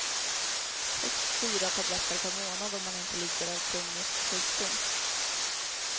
Högst fyra tabletter per månad om man inte lider av kronisk sjukdom.